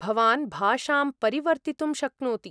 भवान् भाषां परिवर्तितुं शक्नोति।